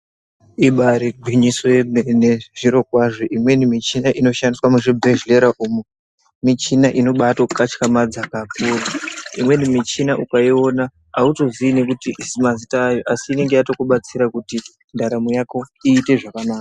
Ibairi gwinyiso yemene zviro kwazvo imweni muchina ino shandiswa mu zvibhedhlera umu michina ino baito katyamadza kakuru imweni muchina uka iona auto zii nekuti mazita ayo asi inenge yato kubatsira kuti ndaramo yako iyite zvakanaka.